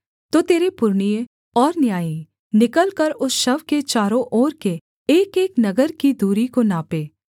तो तेरे पुरनिये और न्यायी निकलकर उस शव के चारों ओर के एकएक नगर की दूरी को नापें